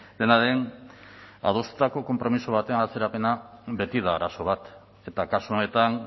dena den adostutako konpromiso batean atzerapena beti da arazo bat eta kasu honetan